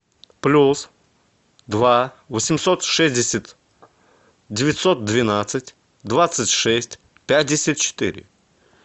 плюс два восемьсот шестьдесят девятьсот двенадцать двадцать шесть пятьдесят четыре